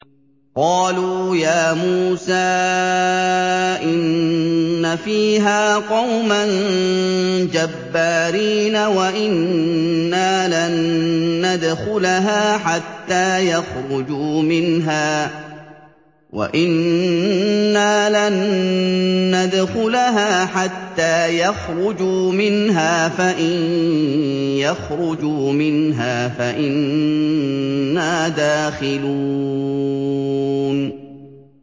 قَالُوا يَا مُوسَىٰ إِنَّ فِيهَا قَوْمًا جَبَّارِينَ وَإِنَّا لَن نَّدْخُلَهَا حَتَّىٰ يَخْرُجُوا مِنْهَا فَإِن يَخْرُجُوا مِنْهَا فَإِنَّا دَاخِلُونَ